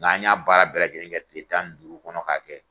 N'an y'a baara bɛɛ lajɛlenkɛ kile tan duuru kɔnɔ k'a kɛ.